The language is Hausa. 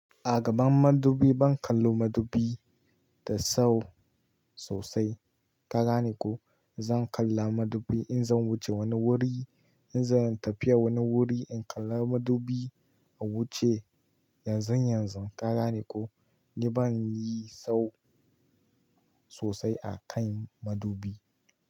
Agaban madubi ban kallon madubi da sau sosai. Ka ganeko zan kalla madubi in zan wuce wani wuri, in zan tafiya wani wuri in kalla madubi a wuce yanzun yanzu. Karaniko ni ban yi sau sosai a kan madubi.